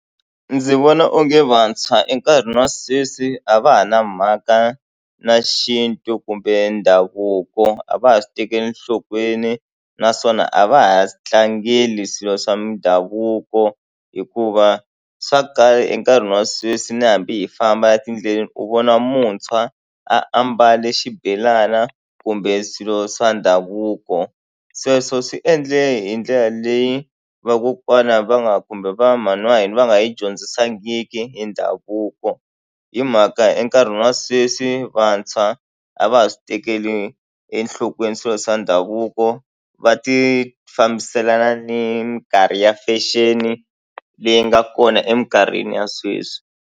Ndzi vona onge vantshwa enkarhini wa sweswi a va ha na mhaka na xintu kumbe ndhavuko a va ha swi tekeli enhlokweni naswona a va ha swi tlangeli swilo swa mindhavuko hikuva swa kala enkarhini wa sweswi ni hambi hi famba etindleleni u vona muntshwa a ambale xibelana kumbe swilo swa ndhavuko. Sweswo swi endle hi ndlela leyi vakokwana va nga kumbe va mhani wa hina va nga yi dyondzisangiki hi ndhavuko hi mhaka enkarhini wa sweswi vantshwa a va ha swi tekeli enhlokweni swilo swa ndhavuko va tifambiselana ni minkarhi ya fashion leyi nga kona emikarhini ya sweswi.